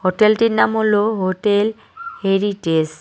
হোটেলটির নাম হল hotel heritage.